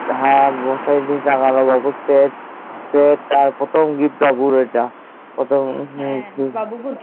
হ্যান সেই মশারি দিয়ে টাঙানো বুঝতে পেরেছি সে তার পর তার প্রথম গিফট তার ইটা প্রথম